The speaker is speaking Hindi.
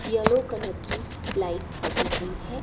येलो कलर की लाइट्स लगी हुई है।